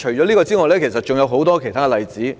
此外，還有很多其他例子。